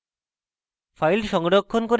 file সংরক্ষণ করে terminal গিয়ে